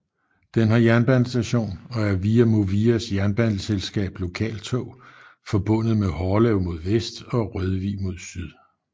Den har jernbanestation og er via Movias jernbaneselskab Lokaltog forbundet med Hårlev mod vest og Rødvig mod syd